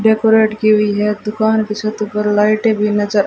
decorate की हुई है दुकान की छत पर लाइटें भी नज--